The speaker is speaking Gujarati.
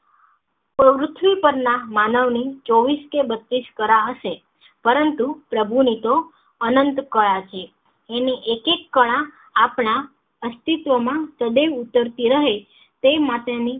પૃથ્વી પર ના માનવ ની ચોવીશ કે બત્તીશ કરા હશે પરંતુ પ્રભુ ની તો અંનત કળા છે એની એક એક કળા આપણા અસતિત્વ માં સદૈવ ઉતરતી રહે તે માટે ની